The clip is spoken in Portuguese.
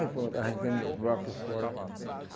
Aí pronto, arrancamos os blocos por fora.